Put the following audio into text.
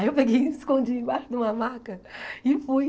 Aí eu peguei e me escondi embaixo de uma maca e fui.